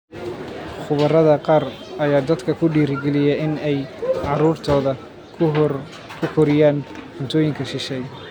Khubarada qaar ayaa dadka ku dhiirigeliya in ay caruurtooda ku koriyaan cuntooyinka shisheeye,